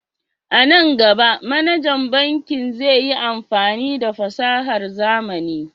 A nan gaba, manajan bankin zai yi amfani da fasahar zamani.